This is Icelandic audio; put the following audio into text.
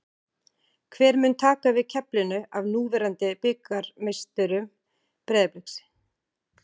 Hver mun taka við keflinu af núverandi bikarmeisturum Breiðabliks?